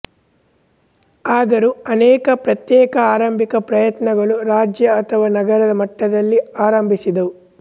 ಆದರೂ ಅನೇಕ ಪ್ರತ್ಯೇಕ ಆರಂಭಿಕ ಪ್ರಯತ್ನಗಳು ರಾಜ್ಯ ಅಥವಾ ನಗರದ ಮಟ್ಟದಲ್ಲಿ ಆರಂಭಿಸಿದವು